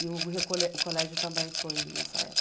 E o e o colé o colégio também foi nessa época?